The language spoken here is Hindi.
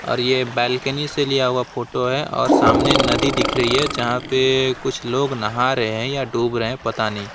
और ये बालकनी से लिया हुआ फोटो है और सामने नदी दिख रही है जहां पर कुछ लोग नहा रहे हैं या डूब रहे हैं पता नहीं।